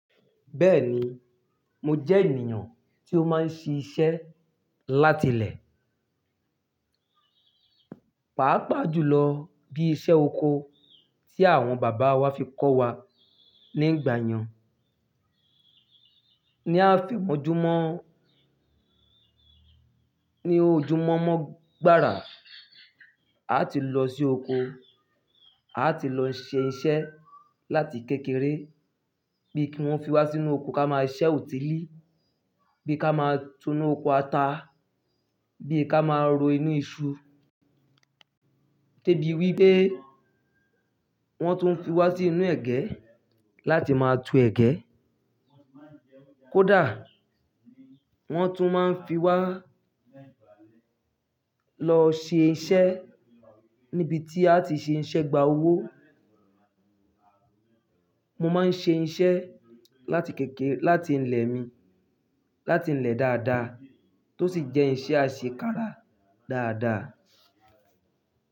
Bẹ́ẹ̀ni, mo jẹ́ ènìyàn tí ó máa ń ṣe iṣẹ́ láti ilé, pàápàá jùlọ bí i iṣẹ́ oko tí àwọn bàbá wá fi kọ́ wa nígbà yẹn. Ni ààfin ojúmọ́, ní ojúmọ́mọ́ gbara, a ti lọ sí oko, a ti lọ ṣe iṣẹ́ láti kékeré bí i kí wọ́n fi wá sínú oko ká máa ṣẹ́ òtí lí, bí ká máa túnú oko ata, bí i ká máa ro inú iṣu, déèbí wípé wọ́n tún ń fi wá sí inú ẹ̀gẹ́ láti máa tú ẹ̀gẹ́. Kódà wọ́n tún máa ń fi wá lọ ṣe iṣẹ́ níbi tí a ti ṣe iṣẹ́ gba owó. Mo máa ń ṣe iṣẹ́ láti kékeré, láti ilé mi, láti ilé dáadáa tó sì jẹ́ iṣẹ́ àṣekára dáadáa.